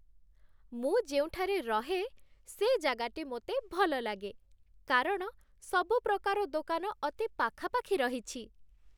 ମୁଁ ଯେଉଁଠାରେ ରହେ ସେ ଜାଗାଟି ମୋତେ ଭଲ ଲାଗେ, କାରଣ ସବୁ ପ୍ରକାର ଦୋକାନ ଅତି ପାଖାପାଖି ରହିଛି।